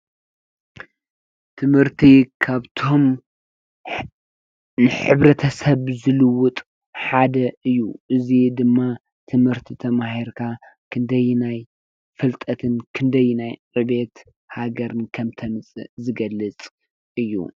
ትምህርቲ ካብቶም ንሕብረተሰብ ዝልዉጥ ሓደ እዩ። እዚ ድማ ትምህርቲ ተማሂርካ ክንደየናይ ፍልጠትን ክንደየናይ ዕብየት ሃገርን ከም እተምፅእ ዝገልፅ እዩ።